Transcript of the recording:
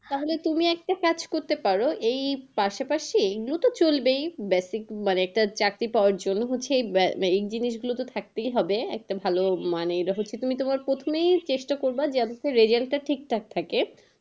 তাহলে তুমি একটা কাজ করতে পারো, এই পাশাপাশি নু তো চলবেই basic মানে একটা চাকরি পাওয়ার জন্য, বলছি আহ এই জিনিস গুলো থাকতেই হবে। একটা ভালো মানে, তুমি তোমার প্রথমেই চেষ্টা করবা, যেন result টা ঠিকঠাক থাকে।